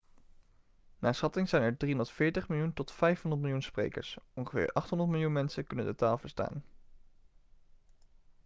naar schatting zijn er 340 miljoen tot 500 miljoen sprekers ongeveer 800 miljoen mensen kunnen de taal verstaan